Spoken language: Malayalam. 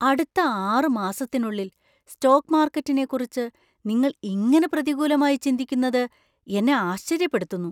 അടുത്ത ആറ് മാസത്തിനുള്ളിൽ സ്റ്റോക്ക് മാർക്കറ്റിനെക്കുറിച്ച് നിങ്ങൾ ഇങ്ങനെ പ്രതികൂലമായി ചിന്തിക്കുന്നത് എന്നെ ആശ്ചര്യപ്പെടുത്തുന്നു.